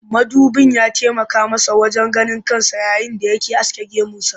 Mudubin ya taimaka masa wajen ganin kansa yayin da yake aske gemunsa